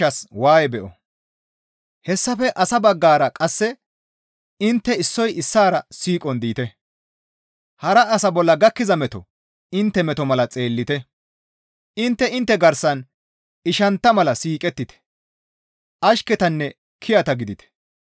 Hessafe asa baggara qasse intte issoy issaara siiqon diite; hara asa bolla gakkiza meto intte meto mala xeellite; intte intte garsan ishantta mala siiqettite; ashketanne kiyata gidite.